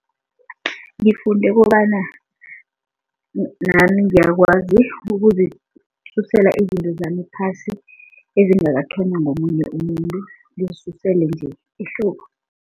Ngifunde kobana nami ngiyakwazi ukuzisusela izinto zami phasi ezingakathonywa ngomunye umuntu, ngizisusele nje ehloko.